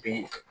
Bi